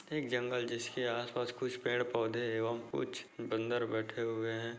एक जंगल जिसके आसपास कुछ पेड़-पौधे एवं कुछ बंदर बैठे हुए हैं।